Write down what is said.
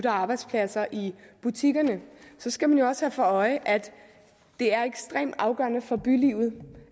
arbejdspladser i butikkerne skal man jo også have for øje at det er ekstremt afgørende for bylivet